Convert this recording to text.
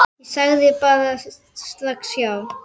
Ég sagði bara strax já.